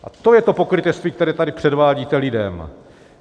A to je to pokrytectví, které tady předvádíte lidem.